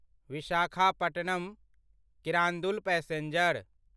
Visakhapatnam Kirandul passenger